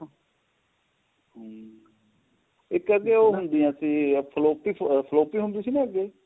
ਹਮ ਇੱਕ ਅੱਗੇ ਉਹ ਹੁੰਦੀਆਂ ਸੀ floppy floppy ਹੁੰਦੀ ਸੀ ਨਾ ਅੱਗੇ